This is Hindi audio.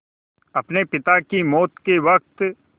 अपने पिता की मौत के वक़्त